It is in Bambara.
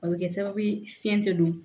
A bɛ kɛ sababu ye fiɲɛ tɛ don